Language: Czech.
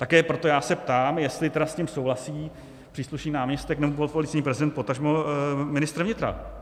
Také proto já se ptám, jestli tedy s tím souhlasí příslušný náměstek nebo policejní prezident, potažmo ministr vnitra.